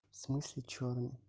в смысле что